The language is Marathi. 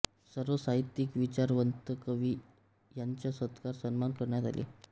सर्व साहित्यिक विचारवंतकवी यांचा सत्कार सन्मान करण्यात आले